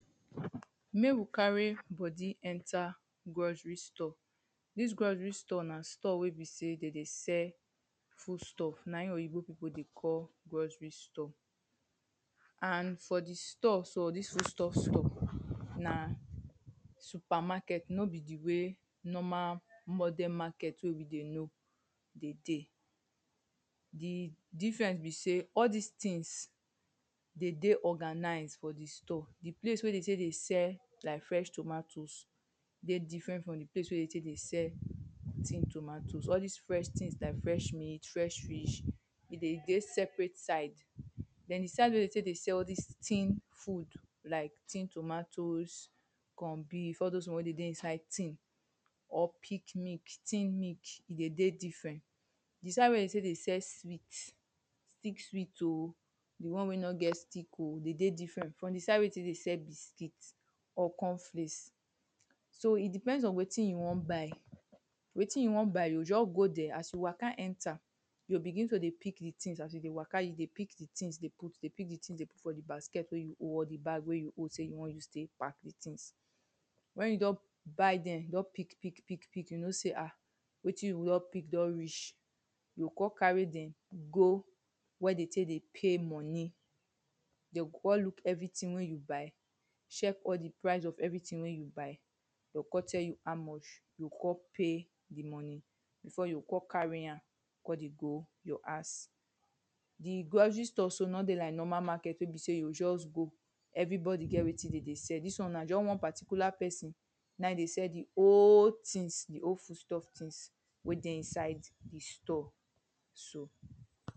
Make we carry body enter grocery store. Dis grocery store na store wey be sey de dey sell foodstuff. Na im Oyinbo people dey call grocery store. And for the store, for dis foodstuff store, na supermarket. No be the way normal modern market wey we dey know dey dey. The difference be sey, all dis things dey dey organize for the store. The place wey dem take dey sell like fresh tomatoes dey different from the place wey dem take dey sell tin tomatoes. All des fresh things like fresh meat, fresh fish, e dey dey separate side. Den the side wey dem take dey sell all des tin food like tin tomatoes, con beef, all dos one wey dey dey inside tin. or peak milk, tin milk, e dey dey different. The side wey dem take dey sell sweet stick sweet oh, the one wey no get stick oh. E dey dey different from the side wey dem take dey sell biscuit or cornflake. So, e depend on wetin you wan buy. Wetin you wan buy you go just go dere. As you waka enter you go begin to dey pick the things. As you dey waka, you dey pick the things dey put. You dey pick the things dey put for the basket wey you hold or the bag wey you hold say you wan use take pack the things. When you don buy dem, you don pick pick pick you know sey ha wetin you don pick don reach you go con carry dem go where dem take dey pay money. They go con look everything wey you buy check the price of everything wey you buy. They con tell you how much. You o con pay the money before you go con carry am, con dey go your house. The grocery store so no dey like normal market wey be sey you go just go everybody get wetin dem dey sell. Dis one na just one particular person na im dey sell the whole things. The whole foodstuff things wey dey inside the store so.